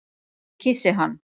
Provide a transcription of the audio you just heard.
Ég kyssi hann.